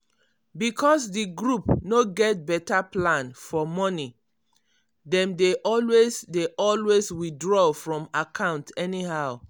because di group no get better plan for money dem dey always dey always withdraw from account anyhow."**